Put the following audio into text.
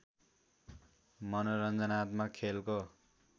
मनोरञ्जनात्मक खेलको